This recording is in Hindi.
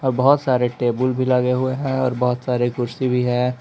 अ बहोत सारे टेबुल भी लगे हुए हैं और बहोत सारे कुर्सी भी है।